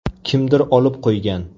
Kimdir olib qo‘ygan.